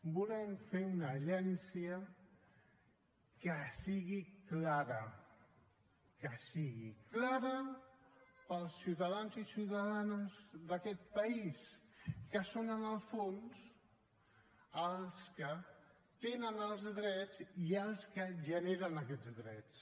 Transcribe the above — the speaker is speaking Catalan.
volem fer una agència que sigui clara que sigui clara per als ciutadans i ciutadanes d’aquest país que són en el fons els que tenen els drets i els que generen aquests drets